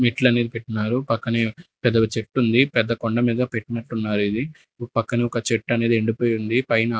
మెట్ల మీద పెట్టినారు పక్కనే పెద్దగా చెట్టుంది పెద్ద కొండ మీద పెట్టినట్టున్నారు ఇది పక్కనొక చెట్టనేది ఎండి పోయి ఉంది పైనా --